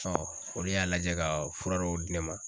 olu y'a lajɛ ka fura dɔw di ne ma.